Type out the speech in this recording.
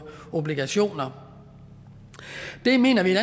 obligationer det mener vi